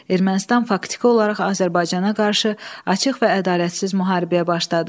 Ermənistan faktiki olaraq Azərbaycana qarşı açıq və ədalətsiz müharibəyə başladı.